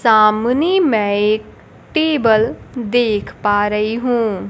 सामने मैं एक टेबल देख पा रही हूं।